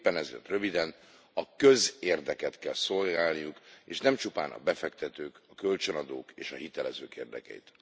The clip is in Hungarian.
Éppen ezért röviden a közérdeket kell szolgálniuk, és nem csupán a befektetők, kölcsönadók és a hitelezők érdekeit.